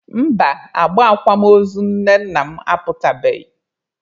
Mba, agba akwamozu nne nna m aputabeghị.